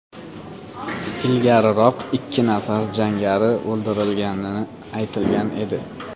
Ilgariroq ikki nafar jangari o‘ldirilgani aytilgan edi.